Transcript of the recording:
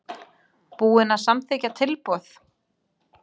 Búinn að samþykkja tilboð?